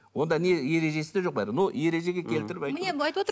онда не ережесі де жоқ но ережеге келтіріп